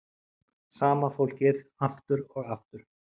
Sama fólkið aftur og aftur.